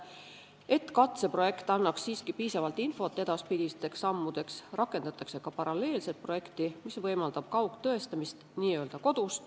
Et katseprojekt annaks siiski piisavalt infot edaspidisteks sammudeks, rakendatakse paralleelset ka projekti, mis võimaldab kaugtõestamist n-ö kodus.